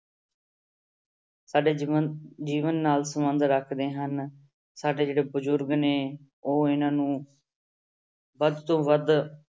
ਸਾਡੇ ਜੀਵਨ ਜੀਵਨ ਨਾਲ ਸੰਬੰਧ ਰੱਖਦੇ ਹਨ ਸਾਡੇ ਜਿਹੜੇ ਬਜ਼ੁਰਗ ਨੇ ਉਹ ਇਹਨਾਂ ਨੂੰ ਵੱਧ ਤੋਂ ਵੱਧ